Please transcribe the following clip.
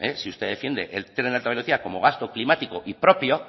si usted defiende el tren de alta velocidad como gasto climático y propio